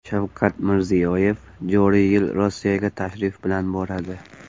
Shavkat Mirziyoyev joriy yil Rossiyaga tashrif bilan boradi.